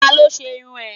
Talo se irún e?